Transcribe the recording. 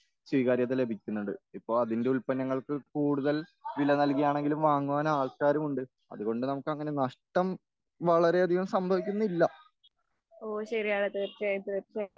സ്വീകാര്യത ലഭിക്കുന്നുണ്ട്.ഇപ്പോ അതിന്റെ ഉല്പന്നങ്ങൾക്ക് കൂടുതൽ വില നൽകിയാണെങ്കിലും വാങ്ങുവാൻ ആൾക്കാരുമുണ്ട്.അതുകൊണ്ട് നമുക്കങ്ങനെ നഷ്ട്ടം വളരെയധികം സംഭവിക്കുന്നില്ല.